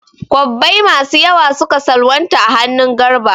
Kwabbai masu yawa suka salwanta a hannun Garba.